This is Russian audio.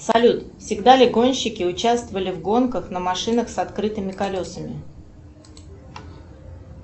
салют всегда ли гонщики участвовали в гонках на машинах с открытыми колесами